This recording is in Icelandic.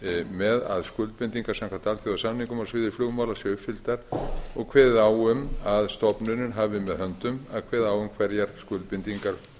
með að skuldbindingar samkvæmt alþjóðasamningum á sviði flugmála séu uppfylltar og kveðið á um að stofnunin hafi með höndum að kveða á um hverjar skuldbindingar